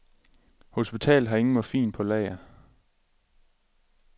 Hospitalet har ingen morfin på lager.